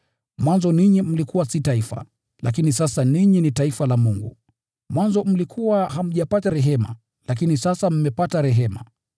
Mwanzo ninyi mlikuwa si taifa, lakini sasa ninyi ni taifa la Mungu. Mwanzo mlikuwa hamjapata rehema, lakini sasa mmepata rehema.